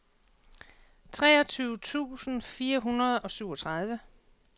treogtyve tusind fire hundrede og syvogtredive